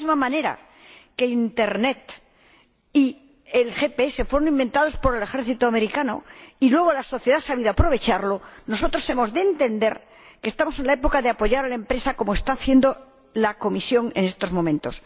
De la misma manera que Internet y el GPS fueron inventados por el ejército estadounidense, y luego la sociedad ha sabido aprovecharlos, nosotros hemos de entender que estamos en la época de apoyar a la empresa, como está haciendo la Comisión en estos momentos.